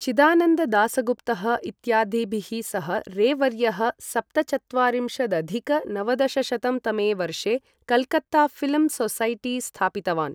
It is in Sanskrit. चिदानन्द दासगुप्तः इत्यादिभिः सह रे वर्यः सप्तचत्वारिंशदधिक नवदशशतं तमे वर्षे कल्कत्ता ऴिल्म् सोसैटी स्थापितवान्।